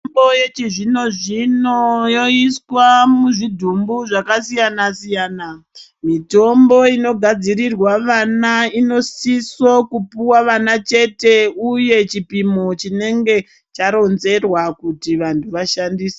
Mitombo yechizvino zvino yoiswa muzvidhumbu zvakasiyana siyana. Mitombo inogadzirirwa vana inosiso kupuwa vana chete uye chipimo chinenge charonzerwa kuti vantu vashandise.